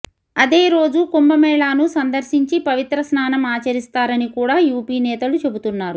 అదే రోజు కుంభమేళాను సందర్శించి పవిత్రస్నానం ఆచరిస్తారని కూడా యూపీ నేతలు చెబుతున్నారు